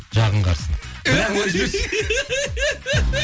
жағың қарыссын